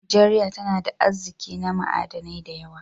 Najeriya tana da arzikin na ma'adanai da yawa.